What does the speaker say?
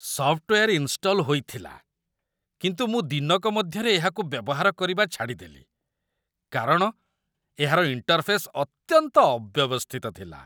software install ହୋଇଥିଲା, କିନ୍ତୁ ମୁଁ ଦିନକ ମଧ୍ୟରେ ଏହାକୁ ବ୍ୟବହାର କରିବା ଛାଡ଼ିଦେଲି କାରଣ ଏହାର ଇଣ୍ଟର୍‌ଫେସ୍ ଅତ୍ୟନ୍ତ ଅବ୍ୟବସ୍ଥିତ ଥିଲା